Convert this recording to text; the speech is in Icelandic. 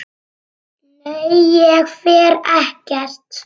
Nei, ég fer ekkert.